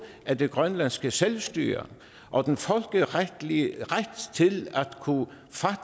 af det grønlandske selvstyre og den folkeretlige ret til